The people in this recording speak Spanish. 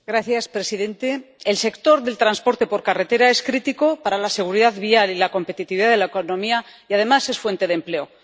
Señor presidente, el sector del transporte por carretera es crítico para la seguridad vial y la competitividad de la economía y, además, es fuente de empleo.